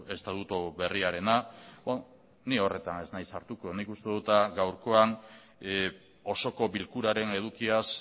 estatutu berriarena ni horretan ez naiz sartuko nik uste dut gaurkoan osoko bilkuraren edukiaz